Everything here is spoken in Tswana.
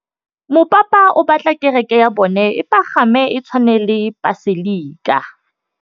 Mopapa o batla kereke ya bone e pagame, e tshwane le paselika.